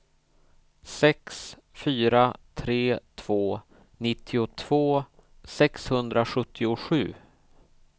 sex fyra tre två nittiotvå sexhundrasjuttiosju